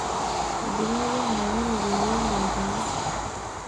eidipaki aayau irropiani olairemok